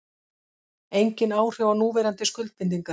Engin áhrif á núverandi skuldbindingar